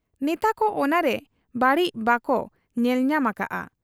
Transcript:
ᱱᱮᱛᱟ ᱠᱚ ᱚᱱᱟᱨᱮ ᱵᱟᱹᱲᱤᱡ ᱵᱟᱠᱚ ᱧᱮᱞ ᱧᱟᱢ ᱟᱠᱟᱜ ᱟ ᱾